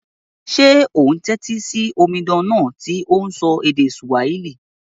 Sé o n tẹ́tí si omidan náà to n sọ èdè Swahili?